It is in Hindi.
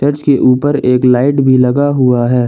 चर्च के ऊपर एक लाइट भी लगा हुआ है।